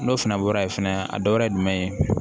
N'o fana bɔra yen fɛnɛ a dɔ wɛrɛ ye jumɛn ye